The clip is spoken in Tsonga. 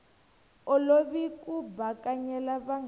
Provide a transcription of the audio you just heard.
olovi ku bakanyela vanghana va